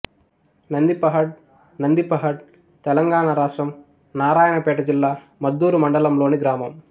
నందిపహాడ్ నందిపహాడ్ తెలంగాణ రాష్ట్రం నారాయణపేట జిల్లా మద్దూరు మండలంలోని గ్రామం